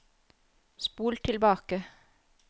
spol tilbake